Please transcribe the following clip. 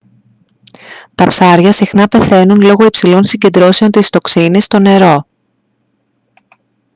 τα ψάρια συχνά πεθαίνουν λόγω υψηλών συγκεντρώσεων της τοξίνης στο νερό